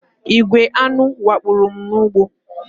Igwè aṅụ wakporo m n'ugbo